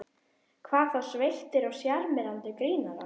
Hvað þá sveittir og sjarmerandi grínarar.